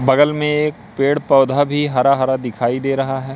बगल में एक पेड़ पौधा भी हरा हरा दिखाई दे रहा है।